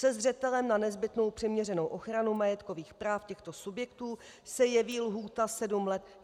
Se zřetelem na nezbytnou přiměřenou ochranu majetkových práv těchto subjektů se jeví lhůta sedm let...